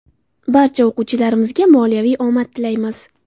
Barcha o‘quvchilarimizga moliyaviy omad tilaymiz.